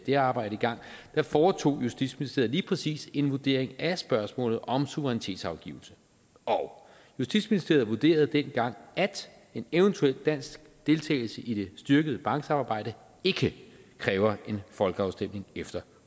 det arbejde i gang foretog justitsministeriet lige præcis en vurdering af spørgsmålet om suverænitetsafgivelse og justitsministeriet vurderede dengang at en eventuel dansk deltagelse i det styrkede banksamarbejde ikke kræver en folkeafstemning efter